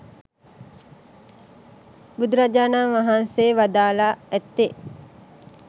බුදු රජාණන් වහන්සේ වදාළා ඇත්තේ